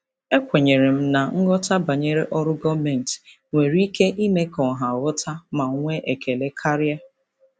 Ekwenyere m na nghọta banyere ọrụ gọọmentị nwere ike ime ka ọha ghọta ma nwee ekele karịa.